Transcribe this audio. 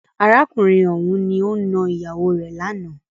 Arákùnrin ọ̀hùn ni o nà ìyàwó rè lánàá.